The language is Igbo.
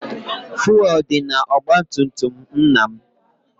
Fụelụ dị n'ọgbatumtum nna m